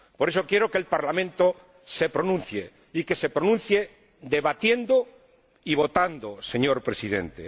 Por eso quiero que el Parlamento se pronuncie, y que se pronuncie debatiendo y votando, señor Presidente.